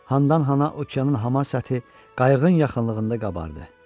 Handan-hana okeanın hamar səthi qayığın yaxınlığında qabardı.